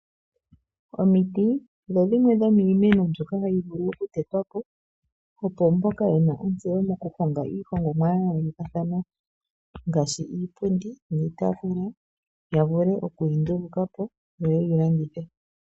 Omiti odho dhimwe dhomiimeno mbyoka hayi vulu oku tetwa po, opo mpoka wuna ontseyo mokuhonga iihongomwa ya yoolokathana ngaashi iipundi niitaafula, ya vule oku yi nduluka po, yo ye yi longithe.